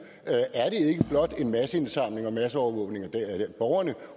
er en masseindsamling og masseovervågning af borgerne